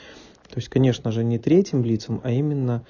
то есть конечно же не третьим лицам а именно